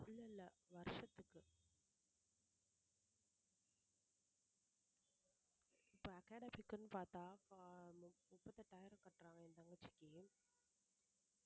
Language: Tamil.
இல்ல இல்ல வருஷத்துக்கு இப்ப academy க்குனு பார்த்தா இப்ப முப்பத்தெட்டாயிரம் கட்டறாங்க என் தங்கச்சிக்கு